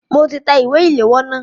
Mo ti tẹ ìwé ìléwọ́ náà.